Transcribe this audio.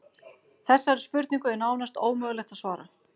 Þessari spurningu er nánast ómögulegt að svara.